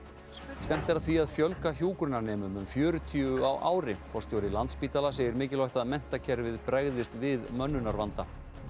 stefnt er að því að fjölga hjúkrunarnemum um fjörutíu á ári forstjóri Landspítala segir mikilvægt að menntakerfið bregðist við mönnunarvanda